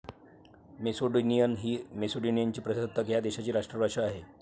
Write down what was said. Macedonian ही मेसिडोनियाचे प्रजासत्ताक ह्या देशाची राष्ट्रभाषा आहे.